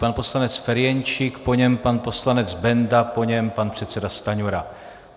Pan poslanec Ferjenčík, po něm pan poslanec Benda, po něm pan předseda Stanjura.